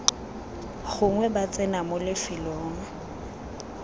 gongwe ba tsena mo lefelong